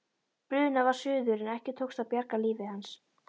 Brunað var suður en ekki tókst að bjarga lífi hans.